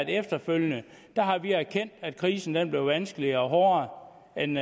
efterfølgende har erkendt at krisen blev vanskeligere og hårdere end